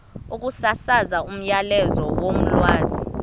ukusasaza umyalezo wolwazi